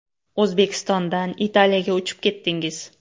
O‘zbekistondan Italiyaga uchib ketdingiz.